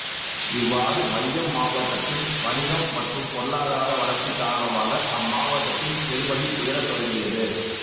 இவ்வாறு மையம் மாவட்டத்தின் வணிகம் மற்றும் பொருளாதார வளர்ச்சி காரணமாக அம்மாவட்டத்தின் பெறுமதி உயரத் தொடங்கியது